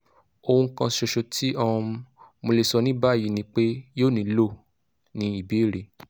ohun kan ṣoṣo ti um mo le sọ ni bayi ni pe yoo nilo - ni ibere